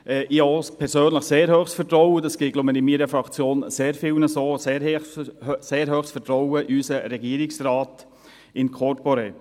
Ich habe persönlich auch ein sehr hohes Vertrauen – dies geht, so glaube ich, in meiner Fraktion sehr vielen so –, in unseren Regierungsrat in corpore.